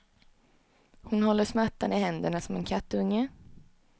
Hon håller smärtan i händerna som en kattunge.